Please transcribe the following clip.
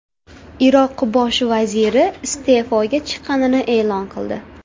Iroq bosh vaziri iste’foga chiqqanini e’lon qildi.